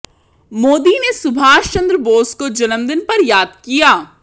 मोदी ने सुभाष चंद्र बोस को जन्मदिन पर याद किया